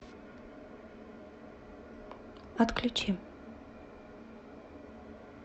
отключи